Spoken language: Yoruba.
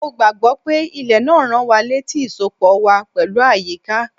Mo gbà gbọ́ pé ilẹ̀ náà ń rán wa létí ìsopọ̀ wa pẹ̀lú àyíká.